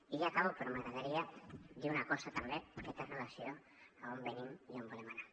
i ja acabo però m’agradaria dir una cosa també que té relació amb d’on venim i on volem anar